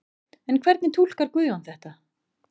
En hvernig túlkar Guðjón þetta?